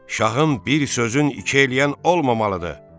Şahın bir sözün iki eləyən olmamalıdır.